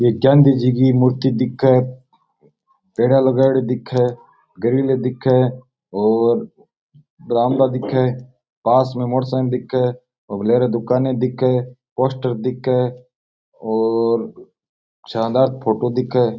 ये गांधी जी की मूर्ति दिखे पेडिया लगाउडि दिखे ग्रिल दिखे और बरामदा दिखे पास में मोटरसाइकिल दिखे लारे दुकाना दिखें पोस्टर दिखें और शानदार फोटो दिखे।